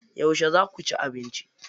Yauce za ku ci abinci?